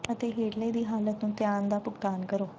ਅਤੇ ਹੇਠਲੇ ਦੀ ਹਾਲਤ ਨੂੰ ਧਿਆਨ ਦਾ ਭੁਗਤਾਨ ਕਰੋ